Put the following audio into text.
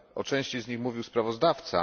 O części z nich mówił sprawozdawca.